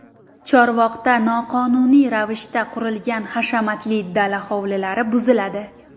Chorvoqda noqonuniy ravishda qurilgan hashamatli dala hovlilari buziladi.